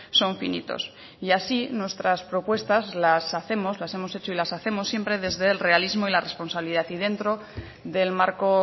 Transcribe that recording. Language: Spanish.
son finitos y así nuestras propuestas las hacemos las hemos hecho y las hacemos siempre desde el realismo y la responsabilidad y dentro del marco